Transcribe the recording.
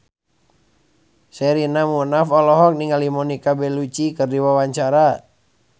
Sherina Munaf olohok ningali Monica Belluci keur diwawancara